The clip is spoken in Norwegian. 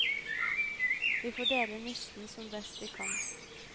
Vi får dele nisten som best vi kan.